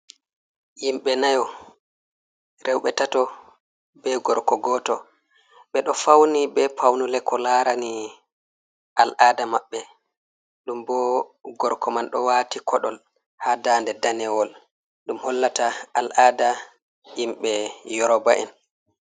Himɓe nayo, rewɓe tato, be gorko goto. Ɓeɗo fauni be paunule ko làrani al'ada maɓɓe, ɗum bo gorko man ɗo wàti koɗol ha daŋde danewol ɗum hollata al'ada himɓe yoroba'en.